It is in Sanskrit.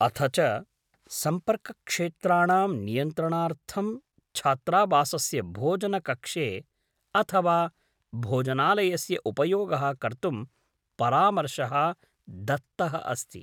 अथ च सम्पर्कक्षेत्राणां नियन्त्रणार्थं छात्रावासस्य भोजनकक्षे अथ वा भोजनालयस्य उपयोगः कर्तुं परामर्शः दत्तः अस्ति।